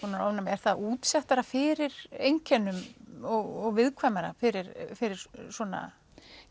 ofnæmi er það útsettara fyrir einkennum og viðkvæmara fyrir fyrir svona